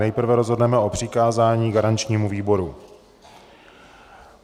Nejprve rozhodneme o přikázání garančnímu výboru.